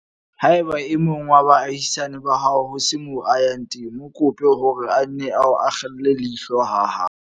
Haeba e mong wa baahisane ba hao ho se moo a yang teng, mo kope hore a nne a akgele leihlo ha hao.